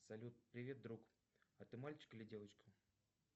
салют привет друг а ты мальчик или девочка